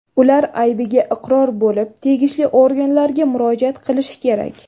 Ular aybiga iqror bo‘lib, tegishli organlarga murojaat qilishi kerak.